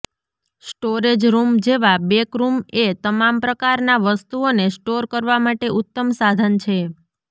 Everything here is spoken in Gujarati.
સ્ટોરેજ રૂમ જેવા બેક રૂમ એ તમામ પ્રકારના વસ્તુઓને સ્ટોર કરવા માટે ઉત્તમ સાધન છે